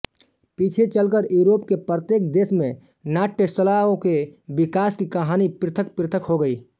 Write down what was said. पीछे चलकर यूरोप के प्रत्येक देश में नाट्यशलाओं के विकास की कहानी पृथक्पृथक् हो गई